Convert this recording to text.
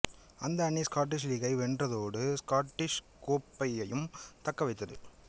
அந்த அணி ஸ்காட்டிஷ் லீகை வென்றதோடு ஸ்காட்டிஷ் கோப்பையையும் தக்க வைத்தது